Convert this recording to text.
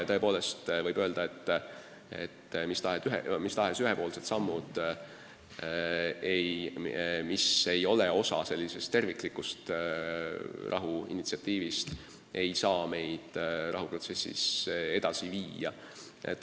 Tõepoolest võib öelda, et mis tahes ühepoolsed sammud, mis ei ole osa sellisest terviklikust rahuinitsiatiivist, ei saa rahuprotsessi edasi viia.